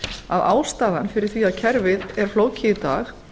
að ástæðan fyrir því að kerfið er flókið í dag